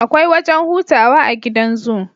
Akwai wajan hutawa a gidan zoo